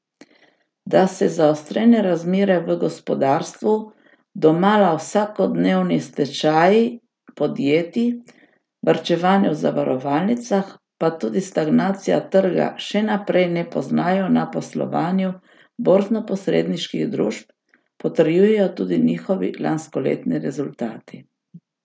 Da se zaostrene razmere v gospodarstvu, domala vsakodnevni stečaji podjetij, varčevanje v zavarovalnicah, pa tudi stagnacija trga še naprej ne poznajo na poslovanju borznoposredniških družb, potrjujejo tudi njihovi lanskoletni rezultati.